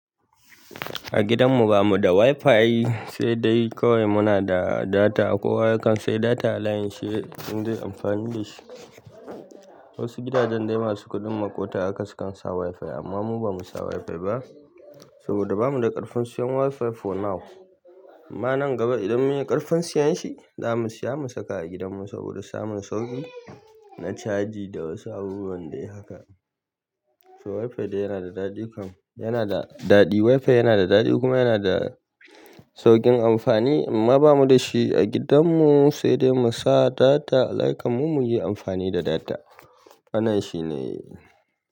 A gidan mu ba mu da WiFi sai dai kawai muna da data. Kowa yakan sayi data a layinshi in zai yi amfani da shi. Wasu gidajen dai masu kuɗin maƙota haka sukan sa WiFi amma mu ba mu sa WiFi ba saboda ba mu da ƙarfin siyan WiFi for now. Amma nan gaba idan mun yi ƙarfin siyan shi, za mu siya mu saka a gidan mu saboda samun sauƙi na caji da wasu abubuwan dai haka. So WiFi dai yana da daɗi kam, yana da daɗi. WiFi yana da daɗi kuma yana da sauƙin amfani amma ba mu da shi a gidan mu sai dai mu sa data. Layi kammu mu yi amfani da data. Wanan shi ne.